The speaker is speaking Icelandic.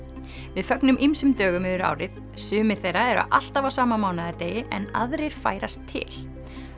við fögnum ýmsum dögum yfir árið sumir þeirra eru alltaf á sama en aðrir færast til